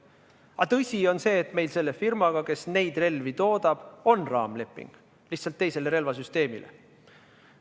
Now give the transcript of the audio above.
Aga tõsi on see, et meil selle firmaga, kes neid relvi toodab, on raamleping, lihtsalt teise relvasüsteemi kohta.